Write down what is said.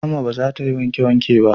Rahma ba za ta yi wanke wanke ba